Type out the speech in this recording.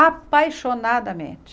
Apaixonadamente.